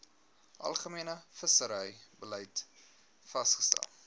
algemene visserybeleid vasgestel